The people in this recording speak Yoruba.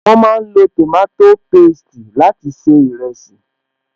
Wọn máa ń lo tòmátò pésti láti se ìrẹsì